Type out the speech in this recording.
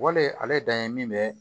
Wale ale dan ye min bɛ